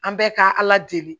An bɛɛ ka ala deli